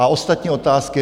A ostatní otázky?